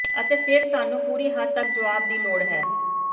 ਅਤੇ ਫਿਰ ਸਾਨੂੰ ਪੂਰੀ ਹੱਦ ਤੱਕ ਜਵਾਬ ਦੀ ਲੋੜ ਹੈ